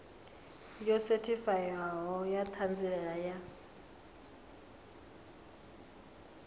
yo sethifaiwaho ya ṱhanziela ya